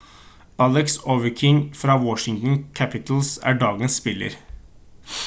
alex ovechkin fra washington capitals er dagens spiller